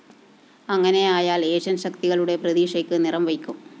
അങ്ങനെയായാല്‍ Asian‍ ശക്തികളുടെ പ്രതീക്ഷയ്ക്ക് നിറംവയ്ക്കും